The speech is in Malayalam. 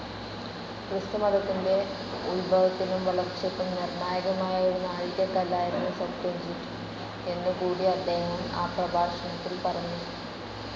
ക്രിസ്തുമത്തത്തിന്റെ ഉത്ഭവത്തിനും വളർച്ചക്കും നിർണായകമായ ഒരു നാഴികക്കല്ലായിരുന്നു സെപ്ത്വജിന്റ് എന്നു കൂടി അദ്ദേഹം ആ പ്രഭാഷണത്തിൽ പറഞ്ഞു.